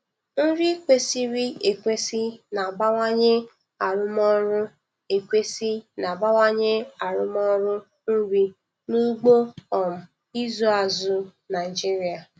Nri kwesịrị ekwesị na-abawanye arụmọrụ ekwesị na-abawanye arụmọrụ nri n'ugbo um ịzụ azụ Naijiria.